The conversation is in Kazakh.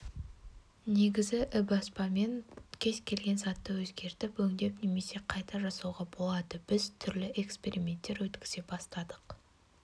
негізі ібаспамен кез келген затты өзгертіп өңдеп немесе қайта жасауға болады біз түрлі эксперименттер өткізе бастадық